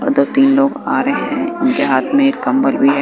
उधर तीन लोग आ रहे हैं उनके हाथ में एक कम्बल भी हैं।